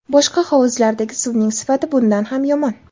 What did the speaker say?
Boshqa hovuzlardagi suvning sifati bundan ham yomon.